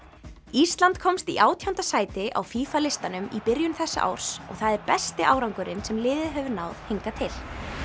ísland komst í átjánda sæti á FIFA listanum í byrjun þessa árs og það er besti árangurinn sem liðið hefur náð hingað til